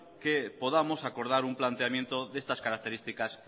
que podamos acordar un planteamiento de estas características